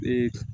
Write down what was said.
Ee